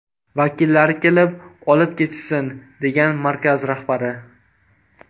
Vakillari kelib olib ketishsin”, degan markaz rahbari.